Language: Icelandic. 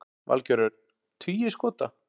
Valgeir Örn: Tugir skota?